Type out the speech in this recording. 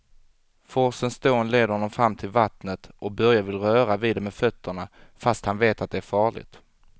Forsens dån leder honom fram till vattnet och Börje vill röra vid det med fötterna, fast han vet att det är farligt.